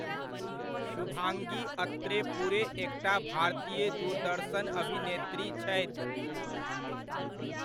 शुभांगी अत्रे पूरे एकटा भारतीय दूरदर्शन अभिनेत्री छथि।